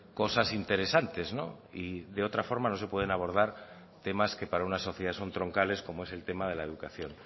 cosas interesantes y de otra forma no se pueden abordar temas que para una sociedad son troncales como es el tema de la educación